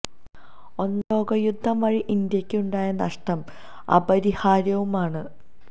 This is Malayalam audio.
ഒന്നാം ലോക യുദ്ധം വഴി ഇന്ത്യക്ക് ഉണ്ടായ നഷ്ടടം അപരിഹാര്യവും ആണ്